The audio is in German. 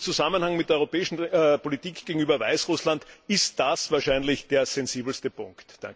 Im Zusammenhang mit der europäischen Politik gegenüber Weißrussland ist das wahrscheinlich der sensibelste Punkt.